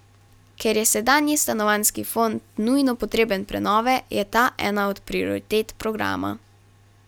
Ker je sedanji stanovanjski fond nujno potreben prenove, je ta ena od prioritet programa.